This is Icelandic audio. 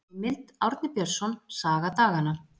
Heimild: Árni Björnsson, Saga daganna.